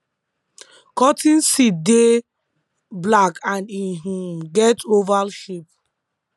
cotton seed dey black and e um get oval shape